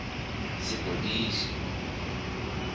sepodisi